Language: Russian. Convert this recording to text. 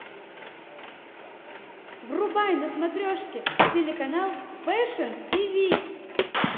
врубай на смотрешке телеканал фэшн тиви